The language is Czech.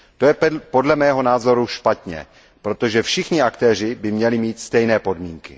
To je podle mého názoru špatně, protože všichni aktéři by měli mít stejné podmínky.